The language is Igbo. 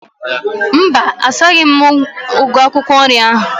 Mba, asaghi m ugu akwụkwọ nri ahu